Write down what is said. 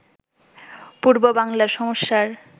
পূর্ববাংলার সমস্যার